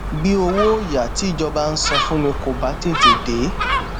bí owó òyà tí ìjọba ń san fún mi kò bá tètè dé